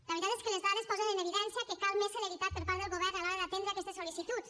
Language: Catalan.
la veritat és que les dades posen en evidència que cal més celeritat per part del govern a l’hora d’atendre aquestes sol·licituds